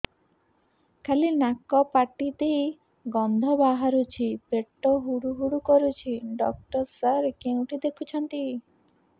ଖାଲି ନାକ ପାଟି ଦେଇ ଗଂଧ ବାହାରୁଛି ପେଟ ହୁଡ଼ୁ ହୁଡ଼ୁ କରୁଛି ଡକ୍ଟର ସାର କେଉଁଠି ଦେଖୁଛନ୍ତ